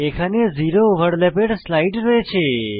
এখানে জিরো ওভারল্যাপের স্লাইড রয়েছে